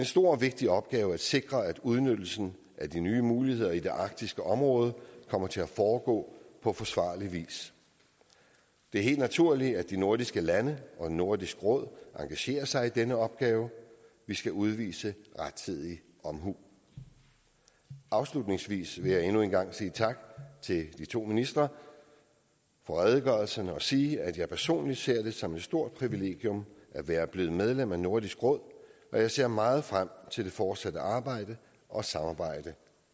stor og vigtig opgave at sikre at udnyttelsen af de nye muligheder i det arktiske område kommer til at foregå på forsvarlig vis det er helt naturligt at de nordiske lande og nordisk råd engagerer sig i denne opgave vi skal udvise rettidig omhu afslutningsvis vil jeg endnu en gang sige tak til de to ministre for redegørelserne og sige at jeg personligt ser det som et stort privilegium at være blevet medlem af nordisk råd og jeg ser meget frem til det fortsatte arbejde og samarbejde